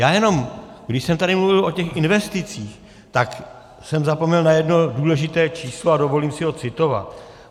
Já jenom, když jsem tady mluvil o těch investicích, tak jsem zapomněl na jedno důležité číslo a dovolím si ho citovat.